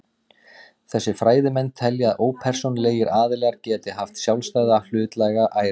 Þessir fræðimenn telja að ópersónulegir aðilar geti haft sjálfstæða hlutlæga æru.